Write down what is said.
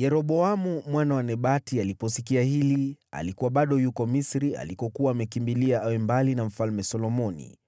Yeroboamu mwana wa Nebati aliposikia hili (alikuwa bado yuko Misri alikokuwa amekimbilia awe mbali na Mfalme Solomoni),